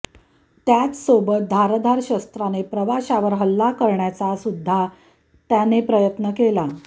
त्याचसोबत धारधार शस्राने प्रवाशावर हल्ला करण्याचा सुद्धा त्याने प्रयत्न केला